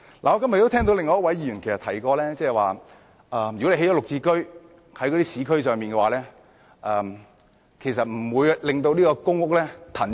我今天聽到另一位議員提到如果在市區興建"綠置居"單位，其實不會騰出一些公屋單位。